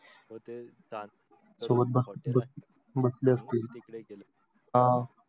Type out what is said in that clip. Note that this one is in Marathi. हा ते जात सोबत बसले असतील तिकडे गेले.